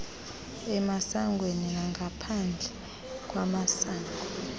emasangweni nangaphandle kwamasango